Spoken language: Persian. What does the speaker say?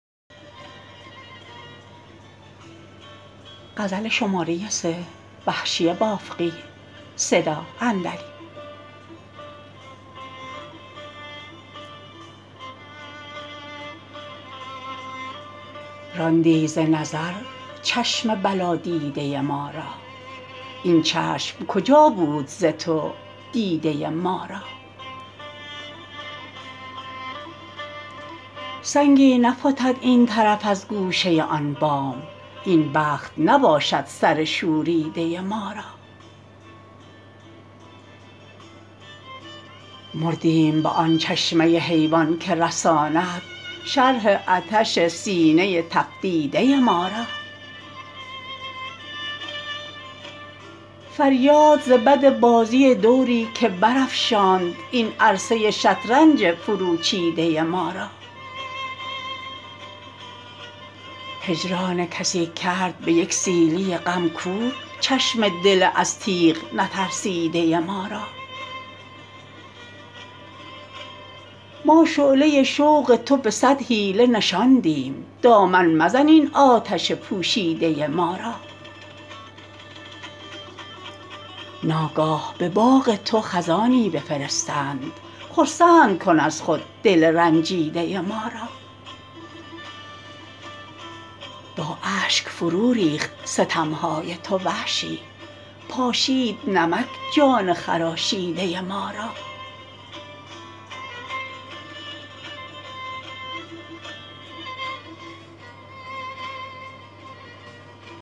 راندی ز نظر چشم بلا دیده ما را این چشم کجا بود ز تو دیده ما را سنگی نفتد این طرف از گوشه آن بام این بخت نباشد سر شوریده ما را مردیم به آن چشمه حیوان که رساند شرح عطش سینه تفسیده ما را فریاد ز بد بازی دوری که برافشاند این عرصه شطرنج فرو چیده ما را هجران کسی کرد به یک سیلی غم کور چشم دل از تیغ نترسیده ما را ما شعله شوق تو به صد حیله نشاندیم دامن مزن این آتش پوشیده ما را ناگاه به باغ تو خزانی بفرستند خرسند کن از خود دل رنجیده ما را با اشک فرو ریخت ستمهای تو وحشی پاشید نمک جان خراشیده ما را